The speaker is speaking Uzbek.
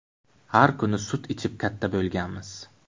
Har kuni sut ichib katta bo‘lganmiz.